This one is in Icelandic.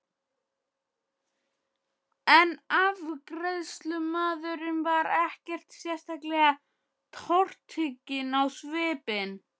En afgreiðslumaðurinn var ekkert sérlega tortrygginn á svipinn.